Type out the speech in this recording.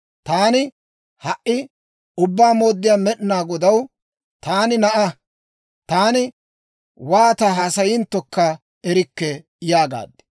Taani, «Ha"i Ubbaa Mooddiyaa Med'inaa Godaw, taani na'aa. Taani wooti haasayinttokka erikke» yaagaad.